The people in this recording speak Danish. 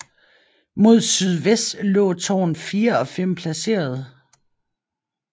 Mod sydvest lå tårn 4 og 5 placeret